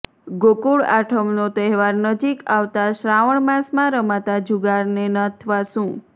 ગોકુળ આઠમનો તહેવાર નજીક આવતા શ્રાવણ માસમાં રમાતા જુગારને નાથવા સુ